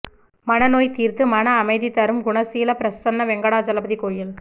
மனநோய் தீர்த்து மன அமைதி தரும் குணசீலம் பிரசன்ன வெங்கடாஜலபதி கோயில்